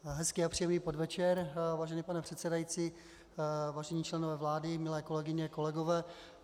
Hezký a příjemný podvečer, vážený pane předsedající, vážení členové vlády, milé kolegyně, kolegové.